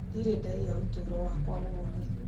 Ndirĩ ndaiya ũtũũro wakwa wothe